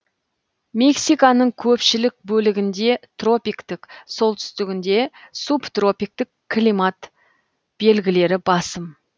мексиканың көпшілік бөлігінде тропиктік солтүстігінде субтропиктік климат белгілері басым